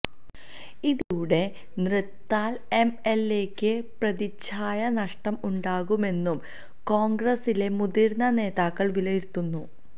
ഇതിലൂടെ തൃത്താല എംഎൽഎയ്ക്ക് പ്രതിച്ഛായ നഷ്ടം ഉണ്ടാകുമെന്നും കോൺഗ്രസിലെ മുതിർന്ന നേതാക്കൾ വിലയിരുത്തുന്നു